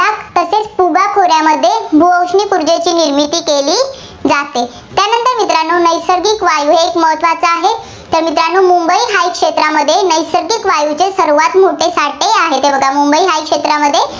भूऔष्णिक ऊर्जेची निर्मिती केली जाते. त्यानंतर मित्रांनो नैसर्गिक वायू एक महत्त्वाचा आहे. तर मित्रांनो मुंबई हाय क्षेत्रामध्ये नैसर्गिक वायूचे सर्वांत मोठे साठे आहेत. मुंबई हाय क्षेत्रामध्ये